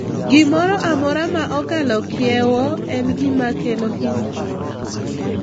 Gimoro amora ma okalo kiewo en gima kelo hinyruok;